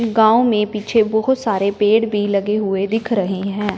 गांव में पीछे बहुत सारे पेड़ भी लगे हुए दिख रहे हैं।